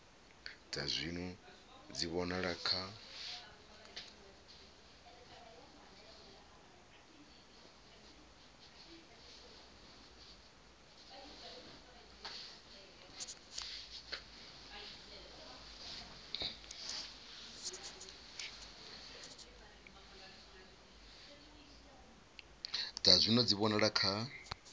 dza zwino dzi vhonala kha